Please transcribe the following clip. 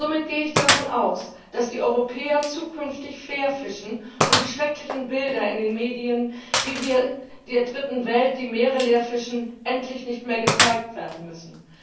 Somit gehe ich davon aus, dass die Europäer zukünftig fair fischen und die schrecklichen Bilder in den Medien, wie wir der Dritten Welt die Meere leerfischen, endlich nicht mehr gezeigt werden müssen.